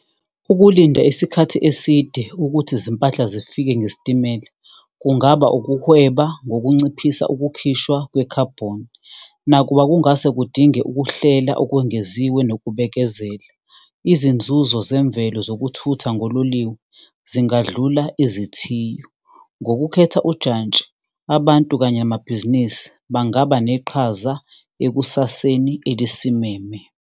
Ukulinda isikhathi eside ukuthi izimpahla zifike ngesitimela, kungaba ukuhweba ngokunciphisa ukukhishwa kwekhabhoni, nakuba kungase kudinge ukuhlela okwengeziwe nokubekezela, izinzuzo zemvelo zokuthutha ngololiwe zingadlula izithiyo. Ngokukhetha ujantshi, abantu kanye amabhizinisi bangaba neqhaza ekusaseni elisimeme.